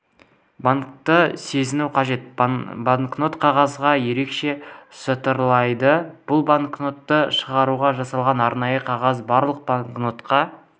банкнотты сезіну қажет банкнот қағазы ерекше шытырлайды бұл банкнотты шығаруға жасалған арнайы қағаз барлық банкнотқа